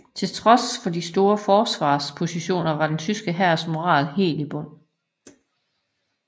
Til trods for de gode forsvarspositioner var de tyske hæres moral helt i bund